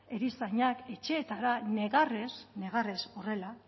erizainak etxeetara negarrez negarrez horrela